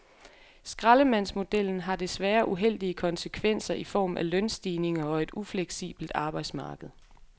Skraldemandsmodellen har desværre uheldige konsekvenser i form af lønstigninger og et ufleksibelt arbejdsmarked.